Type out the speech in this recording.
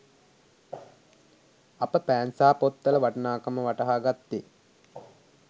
අප පෑන් සහ පොත්වල වටිනාකම වටහා ගත්තේ